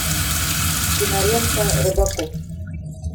кинолента робокоп